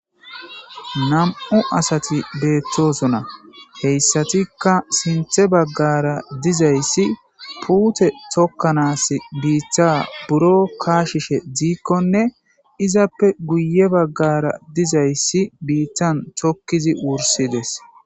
nam'u asati beettosona heyssatikka sinthe baggara dizayssi puute tokkanas biitta buro kaashishe diikkonne izappe guye baggara dizayssi biittan tokkizi wursides